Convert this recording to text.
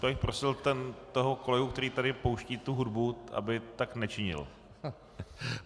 Já bych prosil toho kolegu, který tady pouští tu hudbu, aby tak nečinil.